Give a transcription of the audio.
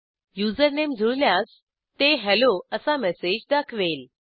username जुळल्यास ते hello असा मेसेज दाखवेल